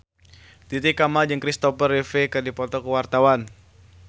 Titi Kamal jeung Kristopher Reeve keur dipoto ku wartawan